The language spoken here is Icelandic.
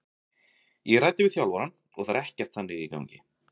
Ég ræddi við þjálfarann og það er ekkert þannig í gangi.